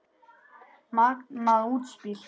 Magnað útspil.